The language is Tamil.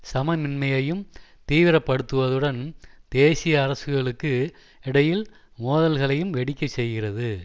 சமமின்மையும் தீவிர படுத்துவதுடன் தேசிய அரசுகளுக்கு இடையில் மோதல்களையும் வெடிக்க செய்கிறது